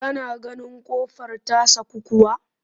Ka na ganin ƙofar ta saku kuwa?